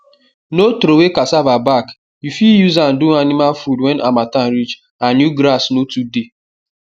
no throway cassava back you fit use am do animal food when harmattan reach and new grass no too dey